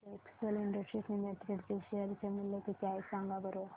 आज Excel Industries Limited चे share चे मूल्य किती आहे सांगा बरं